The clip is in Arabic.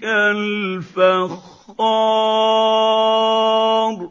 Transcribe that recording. كَالْفَخَّارِ